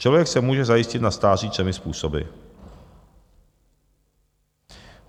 Člověk se může zajistit na stáří třemi způsoby.